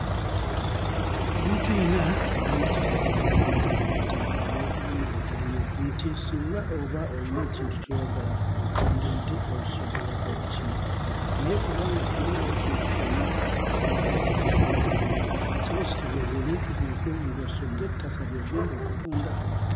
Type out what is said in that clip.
Omuntu yenna yandisaanye n'alunda ente olw'obulungi obulimu nti singa oba oyina ekintu ky'oyagala bw'otunda ente osobola okukimala naye bw'oba nga toyinaawo kintu kyonna ky'olunda ky'osobola kutunda kiba kitegeeza nti ebintu byo eby'omugaso ng'ettaka by'ogenda okutunda.